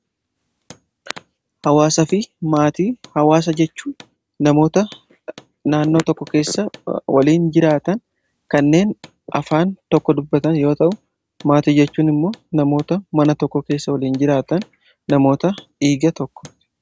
Hawaasa fi maatii, hawaasa jechuu namoota naannoo tokko keessa waliin jiraatan kanneen afaan tokko dubbatan yoo ta'u maatii jechuun immoo namoota mana tokko keessa waliin jiraatan namoota dhiiga tokko.